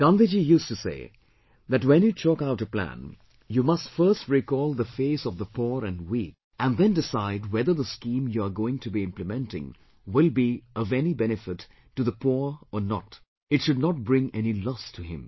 Gandhiji used to say that when you chalk out a plan, you must first recall the face of the poor and weak and then decide whether the scheme you are going to be implementing will be of any benefit to the poor or not, it should not bring any loss to him